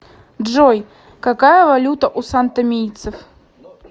джой какая валюта у сантомийцев